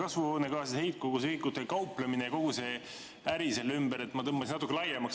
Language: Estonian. Kasvuhoonegaaside heitkoguse ühikutega kauplemine ja kogu see äri selle ümber – ma tõmbasin natuke laiemaks.